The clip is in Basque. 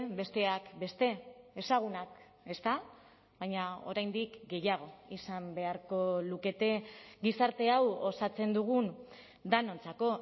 besteak beste ezagunak ezta baina oraindik gehiago izan beharko lukete gizarte hau osatzen dugun denontzako